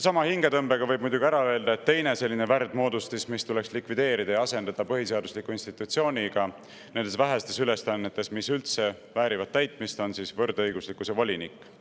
Sama hingetõmbega võib muidugi ära öelda, et teine selline värdmoodustis, mis tuleks likvideerida ja mille vähesed täitmist väärivad ülesanded tuleks põhiseaduslikule institutsioonile, on võrdõiguslikkuse volinik.